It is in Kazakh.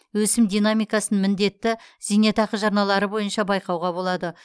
өсім динамикасын міндетті зейнетақы жарналары бойынша байқауға болады